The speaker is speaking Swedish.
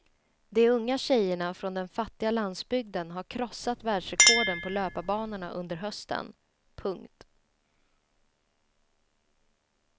De unga tjejerna från den fattiga landsbygden har krossat världsrekorden på löparbanorna under hösten. punkt